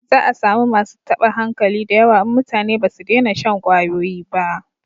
Za a samu masu taba hankali da yawa in mutane ba su dena shan kwayoyi ba